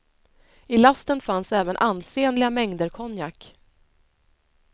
I lasten fanns även ansenliga mängder konjak.